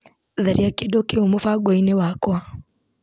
Tharia kĩndũ kĩu mũbango-inĩ wakwa.